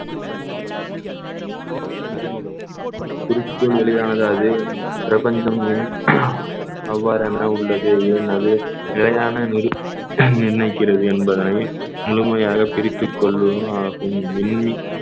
அறிமுகம் குறிக்கோள் எளிதானது அது பிரபஞ்சம் எண் அவ்வாறென உள்ளது ஏன் அது நிலையான நிர்~ நிர்ணயிக்கிறது என்பதனை முழுமையாக பிரித்துக் கொள்ளுவதும் ஆகும் மின்~